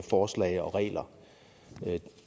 forslag og regler vil